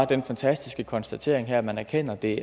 den fantastiske konstatering af at man erkender at det